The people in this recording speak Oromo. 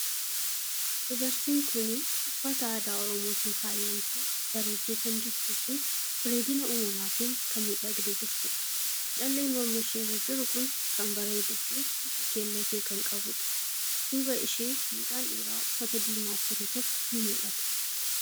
Dubartiin kuni uffata aadaa Oromootin faayamtee bareeddee kan jirtuu fii bareeddina uumamaatin kan miidhagdee jirtuudha. Calleen morma ishee irra jiru kun kan bareedu fii bifa keelloo ta'e kan qabuudha. Duuba ishee mucaan dhiiraa uffata diimaa uffate tokko ni mul'ata.